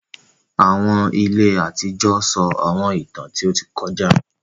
Àwọn ìlẹ̀ àtijọ sọ Àwọńìtàn tí o tì kọ̀jà.